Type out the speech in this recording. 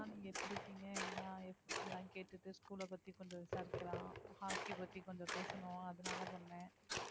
ஆஹ் நீங்க எப்படி இருக்கீங்க ஏன்னா எப்~ எல்லாம் கேட்டுட்டு school பத்தி கொஞ்சம் விசாரிக்கலாம் hockey பத்தி கொஞ்சம் பேசணும் அதனால பண்ணேன்